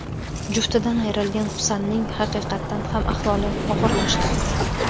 Juftidan ayrilgan Husanning haqiqatan ham ahvoli og‘irlashdi.